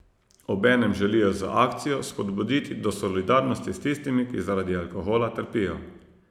Obenem želijo z akcijo spodbuditi do solidarnosti s tistimi, ki zaradi alkohola trpijo.